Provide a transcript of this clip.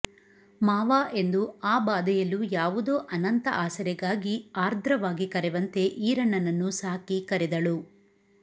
ಮಾವಾ ಎಂದು ಆ ಬಾಧೆಯಲ್ಲೂ ಯಾವುದೊ ಅನಂತ ಆಸರೆಗಾಗಿ ಆರ್ದ್ರವಾಗಿ ಕರೆವಂತೆ ಈರಣ್ಣನನ್ನು ಸಾಕಿ ಕರೆದಳು